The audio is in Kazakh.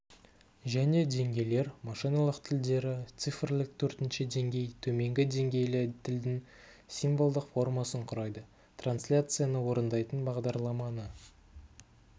және деңгейлер машиналық тілдері цифрлік төртінші деңгей төменгі деңгейлі тілдің символдық формасын құрайды трансляцияны орындайтын бағдарламаны